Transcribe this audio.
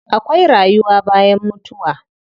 Akwai rayuwa bayan mutuwa.